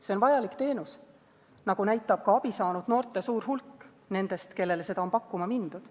See on vajalik teenus, nagu näitab ka abi saanud noorte suur hulk nende hulgas, kellele seda on pakkuma mindud.